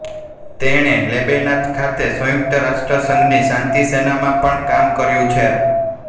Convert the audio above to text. તેણે લેબેનાન ખાતે સંયુક્ત રાષ્ટ્રસંઘની શાંતિસેનામાં પણ કામ કર્યું છે